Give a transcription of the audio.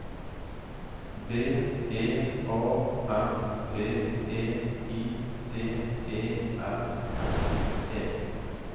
B E A R B E I D E L S E